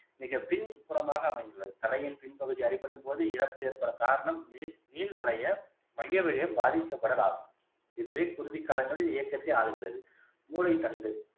மிகப்பின் புறமாக அமைந்துள்ளது தலையின் பின்பகுதி அடிபடும்போது இறப்பு ஏற்பட காரணம் நீர் நீள் வளைய மைய வளையம் பாதிக்கப்படலம் ஆகும் இதுவே குருதி காலங்களில் இயக்கத்தை ஆளுகிறது மூளைத்தண்டு